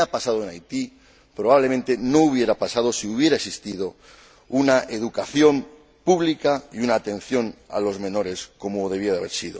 Lo que ha pasado en Haití probablemente no hubiera pasado si hubiera existido una educación pública y una atención a los menores como tenía que ser.